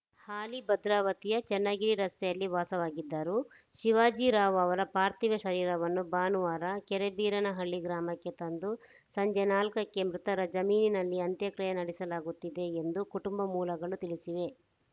ಹಾಲಿ ಭದ್ರಾವತಿಯ ಚನ್ನಗಿರಿ ರಸ್ತೆಯಲ್ಲಿ ವಾಸವಾಗಿದ್ದರು ಶಿವಾಜಿರಾವ್‌ ಅವರ ಪಾರ್ಥೀವ ಶರೀರವನ್ನು ಭಾನುವಾರ ಕೆರೆಬೀರನಹಳ್ಳಿ ಗ್ರಾಮಕ್ಕೆ ತಂದು ಸಂಜೆ ನಾಲ್ಕಕ್ಕೆ ಮೃತರ ಜಮೀನಿನಲ್ಲಿ ಅಂತ್ಯಕ್ರಿಯೆ ನಡೆಸಲಾಗುತ್ತದೆ ಎಂದು ಕುಟುಂಬ ಮೂಲಗಳು ತಿಳಿಸಿವೆ